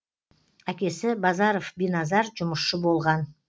әкесі базаров биназар жұмысшы болған